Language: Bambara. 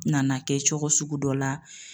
Nana kɛ cogo sugu dɔ la.